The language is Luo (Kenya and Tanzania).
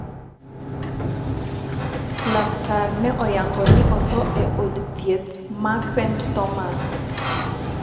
Laktar ne oyango ni otho e od thieth ma St Thomas'.